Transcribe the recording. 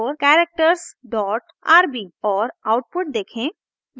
और आउटपुट देखें